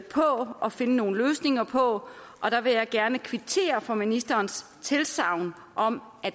og finde nogle løsninger på og der vil jeg gerne kvittere for ministerens tilsagn om at